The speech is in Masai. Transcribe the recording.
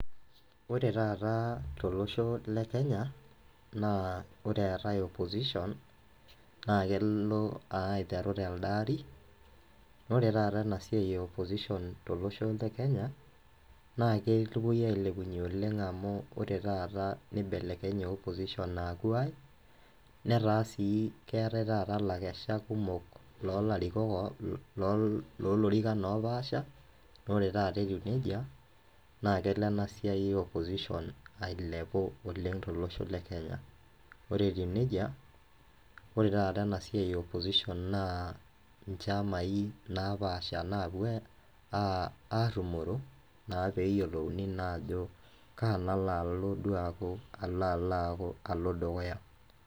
Ore taata tolosho le Kenya, naa ore eetae opposition ,na kelo aiteru telde aarri, nore taata enasiai e opposition tolosho le Kenya, na kepuoi ailepunye oleng amu ore taata nibelekenye opposition aaku ai, netaa si keetae taata lakeshak kumok lolarikok lolorikan opaasha, nore taata etiu nejia, na kelo enasiai e opposition ailepu oleng tolosho le Kenya. Ore etiu nejia, ore taata enasiai e opposition naa nchamai napaasha napuo arrumoro, naa peyiolouni naa ajo kaa nalo alo duo aku alalaku, alo dukuya.